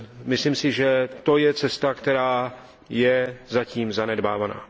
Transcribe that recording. Myslím si, že to je cesta, která je zatím zanedbávaná.